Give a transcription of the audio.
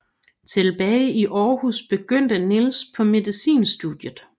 Tilbage i Aarhus begyndte Nils på medicinstudiet